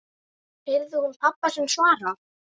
heyrði hún pabba sinn svara.